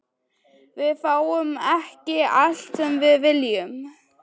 Við fáum ekki allt sem við viljum.